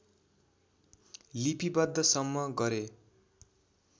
लिपिबद्धसम्म गरे